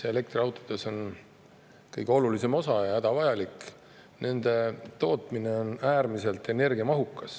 Elektriautodes on kõige olulisem ja hädavajalik osa aku, mille tootmine on äärmiselt energiamahukas.